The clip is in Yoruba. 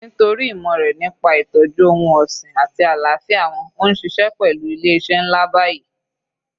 Nítorí ìmọ̀ rẹ̀ nípa ìtọ́jú ohun ọ̀sìn àti àlàáfíà wọn ó ń ṣiṣẹ́ pẹlu ilé iṣẹ́ ńlá báyìí